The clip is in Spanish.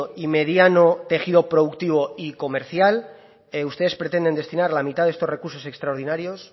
y mediano tejido productivo y comercial ustedes pretenden destinar la mitad de estos recursos extraordinarios